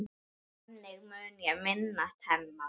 Þannig mun ég minnast hennar.